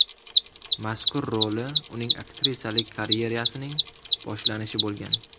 Mazkur roli uning aktrisalik karyerasining boshlanishi bo‘lgan.